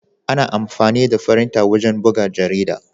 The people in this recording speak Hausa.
Ana amfani da firinta wajen buga jarida.